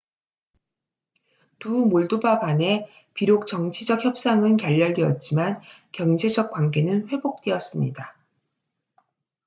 두 몰도바 간에 비록 정치적 협상은 결렬되었지만 경제적 관계는 회복되었습니다